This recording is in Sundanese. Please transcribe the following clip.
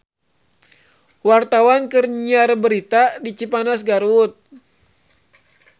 Wartawan keur nyiar berita di Cipanas Garut